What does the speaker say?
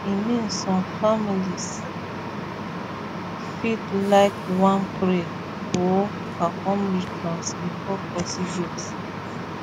i mean some mean some families fit laik wan pray or perform rituals before procedures